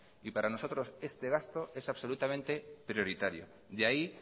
y para nosotros este gasto en absolutamente prioritario de ahí